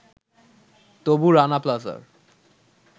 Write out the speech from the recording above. তবু রানা প্লাজার